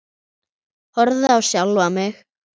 Horfi á sjálfa mig.